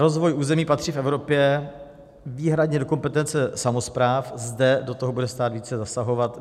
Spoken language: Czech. Rozvoj území patří v Evropě výhradě do kompetence samospráv, zde do toho bude stát více zasahovat.